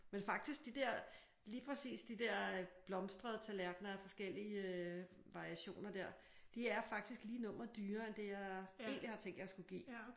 Men faktisk de der lige præcis de der blomstrede tallerkener af forskellige variationer der de er faktisk lige nummeret dyrere end det jeg egentlig har tænkt jeg skulle give